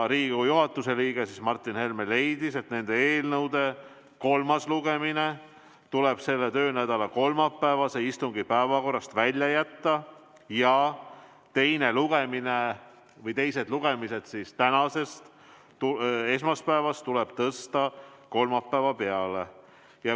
Riigikogu juhatuse liige Martin Helme leidis, et nende eelnõude kolmas lugemine tuleb selle töönädala kolmapäevase istungi päevakorrast välja jätta ja nende teised lugemised tänasest, esmaspäevast tuleb tõsta kolmapäeva peale.